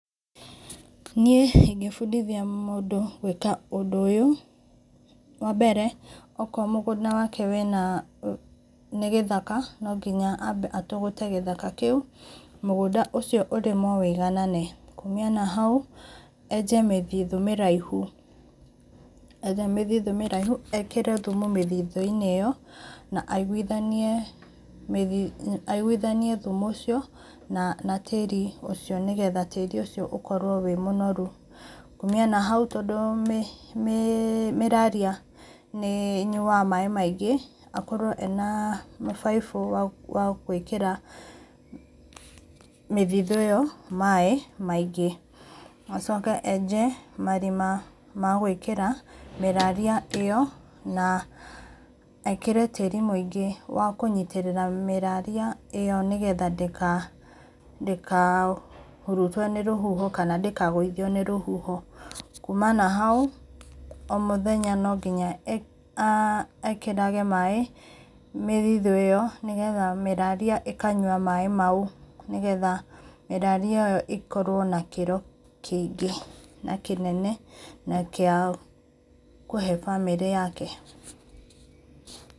Niĩ ingĩbũndithia mũndũ gwĩka ũndũ ũũ, wambele okorwo mũgũnda wake nĩ gĩthaka ambe atũgũte gĩthaka kĩũ mũgũnda ũcio ũrĩmwo wũĩganane mũnanĩa na haũ enje mĩthĩthũ mĩraihũ etha mĩthĩthũ mĩraĩhũ ekĩre thũmũ mĩthithũ inĩ ĩyo na aigũthanie mĩthĩ aigũĩthanĩe thũmũ ũcio na tĩri ũcio nĩgetha tĩrĩ ũcio ũkorwo wĩ mũnorũ, kũmĩa na haũ tondũ mĩ mĩraria nĩ ĩnyũaga maĩ maingĩ akorwo ena mĩbaibũ ya gwĩkĩra mĩthithũ ĩyo maĩ maingĩ, acoke enje marĩma magwĩkĩra mĩraria ĩyo na ekĩre tĩri mũingĩ wa kũnyĩtĩrĩra mĩraria ĩyo nĩgetha ndĩka ndĩka hũrũtwo nĩ rũhũho kana ndĩkagũithio nĩ rũhũho kũma nahaũ o mũthenya no nginya ekĩrage maĩ mĩthithũ ĩyo nĩgetha mĩraria ĩkanyũa maĩ maũ nĩgetha mĩraria ĩyo ĩkorwo na kĩro kĩingĩ na kĩnene na kĩndũ kĩa kũhe bamĩrĩ yake.